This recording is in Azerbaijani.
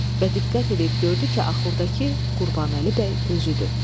Və diqqət eləyib gördü ki, axurdakı Qurbanəli bəy özüdür.